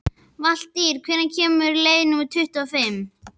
Valtýr, hvenær kemur leið númer tuttugu og fimm?